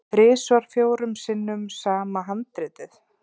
Þrisvar fjórum sinnum sama handritið?